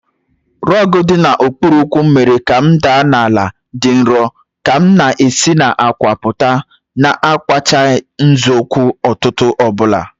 Rogu dị n'okpuru ụkwụ m mere ka m daa n'ala dị nro ka m na-esi n'àkwà pụta, na-akwachi nzọụkwụ ụtụtụ ọ bụla.